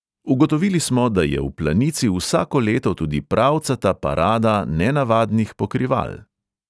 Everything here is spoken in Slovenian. Ugotovili smo, da je v planici vsako leto tudi pravcata parada nenavadnih pokrival.